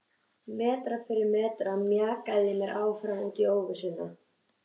Metra fyrir metra mjakaði ég mér áfram út í óvissuna.